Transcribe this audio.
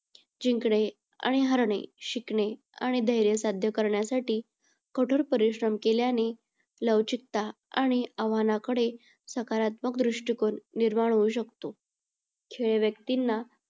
जिंकणे आणि हारणे शिकणे आणि धैर्य साध्य करण्यासाठी कठोर परिश्रम केल्याने लवचिकता आणि आव्हाणाकडे सकारात्मक दृष्टिकोन निर्माण होऊ शकतो. खेळ व्यक्तींना